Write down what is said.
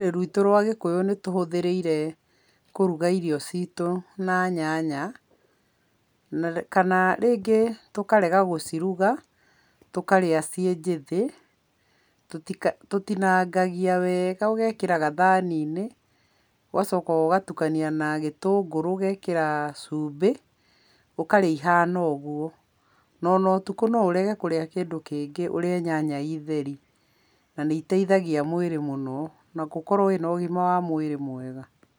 Rũrĩrĩ rwitũ rwa gĩkũyũ nĩ tũhũthĩrĩire kũruga irio citũ na na nyanya kana rĩngĩ tũkarega gũciruga tũkarĩa ciĩ njĩthĩ, tũtinangagia wega ũgekĩra gathaniinĩ ũgacoka ũgatukania na gĩtũngũrũ ũgekĩra cumbĩ ũkarĩa ihana ũguo ona ũtukũ no ũrege kũrĩa kĩndũ kĩngĩ ũrĩe nyanya ciĩ theri na nĩ iteithagia mwĩrĩ mũno na gũkorwo wĩna ũgima wa mwĩrĩ mwega.